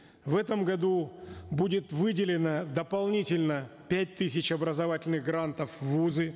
в этом году будет выделено дополнительно пять тысяч образовательных грантов в вузы